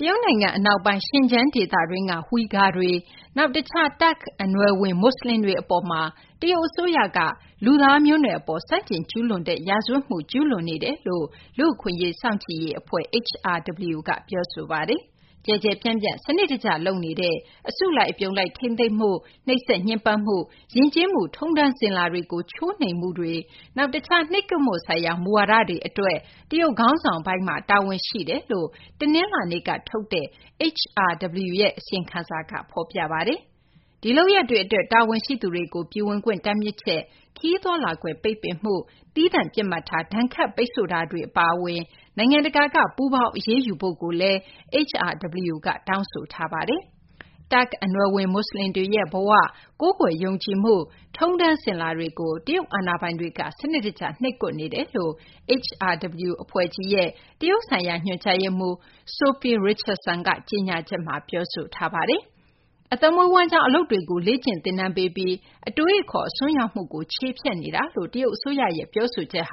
တရုတ်နိုင်ငံ အနောက်ပိုင်း Xinjiang ဒေသတွင်းက Uyghurs တွေ၊ နောက် တခြား တာခ့် အနွယ်ဝင် မူဆလင်တွေ အပေါ်မှာ တရုတ် အစိုးရက လူသားမျိုးနွယ်အပေါ် ဆန့်ကျင် ကျူးလွန်တဲ့ ရာဇဝတ်မှု ကျူးလွန်နေကြောင်း လူ့အခွင့်အရေး စောင့်ကြည့်ရေး အဖွဲ့ HRW က ပြောဆိုပါတယ်။ ကျယ်ကျယ်ပြန့်ပြန့်၊ စနစ်တကျ လုပ်နေတဲ့ အစုလိုက် အပြုံလိုက် ထိန်းသိမ်းမှု၊ နှိပ်စက် ညှဉ်းပန်းမှု၊ ယဉ်ကျေးမှု ထုံးတမ်း စဉ်လာတွေကို ချိုးနှိမ်မှုတွေ၊ တခြား နှိပ်ကွပ်မှု ဆိုင်ရာ မူဝါဒတွေ အတွက် တရုတ် ခေါင်းဆောင်ပိုင်းမှာ တာဝန်ရှိကြောင်း တနလာၤနေ့က ထုတ်တဲ့ HRW ရဲ့ အစီရင်ခံစာမှာ ဖော်ပြထားပါတယ်။ ဒီလုပ်ရပ်တွေ အတွက် တာဝန်ရှိသူတွေကို ပြည်ဝင်ခွင့် တားမြစ်ချက်၊ ခရီးသွားလာခွင့် တားမြစ်ချက်၊ သီးသန့် ပစ်မှတ်ထား ဒဏ်ခတ် ပိတ်ဆို့မှုတွေ အပါအဝင် နိုင်ငံတကာက ပူးပေါင်း အရေးယူဖို့လည်း HRW က တောင်းဆိုထားပါတယ်။ တာခ့် အနွယ်ဝင် မူဆလင်တွေရဲ့ ဘဝ၊ ကိုးကွယ်ယုံကြည်မှု၊ ထုံးတမ်း စဉ်လာတွေကို တရုတ် အာဏာပိုင်တွေက စနစ်တကျ နှိပ်ကွက်နေကြောင်း HRW အဖွဲ့ကြီးရဲ့ တရုတ်ဆိုင်ရာ ညွှန်ကြားရေးမှူး Sophie Richardson က ကြေညာချက်မှာ ပြောဆိုထားပါတယ်။ အသက်မွေးဝမ်းကျောင်း အလုပ်တွေကို လေ့ကျင်သင်တန်းပေးပြီး အတွေးအခေါ် အစွန်းရောက်မှုကို ချေဖျက်နေတာလို့ တရုတ် အစိုးရရဲ့ ပြောဆိုချက်